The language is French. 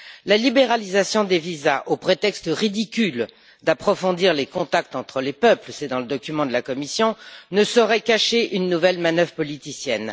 La libéralisation des visas au prétexte ridicule d'approfondir les contacts entre les peuples c'est dans le document de la Commission ne saurait cacher une nouvelle manœuvre politicienne.